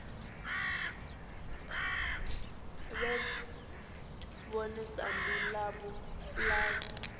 vhe ḽone sambi ḽavho ḽa